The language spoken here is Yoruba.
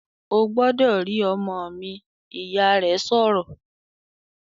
"Ó gbọ́dọ̀ rí ọmọ mi!", Ìyá rẹ̀ sọ̀rọ̀